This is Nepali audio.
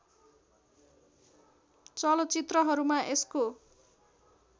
चलचित्रहरूमा यसको